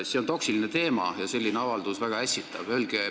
See on toksiline teema ja selline avaldus väga ässitav.